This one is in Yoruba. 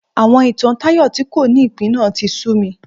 Àwọn ìtàn Tayo tí kò ní ìpín náà tí sú mi